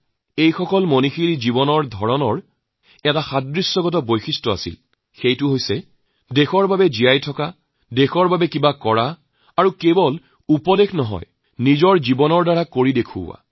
এই সকল মহাপুৰুষৰ এটা কেন্দ্ৰ বিন্দু আছিল সেইটো কি তেওঁলোকৰ সকলোৰে এটা উমৈহতীয়া বিষয় আছিল সেইটো হল দেশৰ বাবে জীয়াই থকা দেশৰ বাবে কিবা এটা কৰা আৰু কেৱল মাত্ৰ উপদেশ দিয়াই নহয় জীৱন যাপনেৰে সেই উপদেশ পালন কৰা